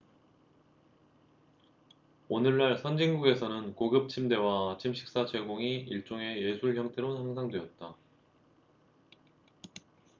오늘날 선진국에서는 고급 침대와 아침 식사 제공이 일종의 예술 형태로 향상되었다